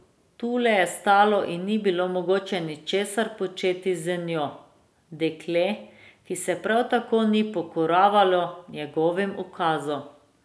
Tule je stalo in ni bilo mogoče ničesar početi z njo, dekle, ki se prav tako ni pokoravalo njegovim ukazom.